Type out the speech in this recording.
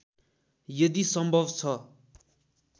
यदि सम्भव छ